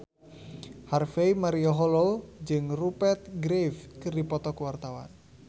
Harvey Malaiholo jeung Rupert Graves keur dipoto ku wartawan